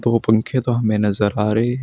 वो पंखे तो हमे नजर आ रहे हैं।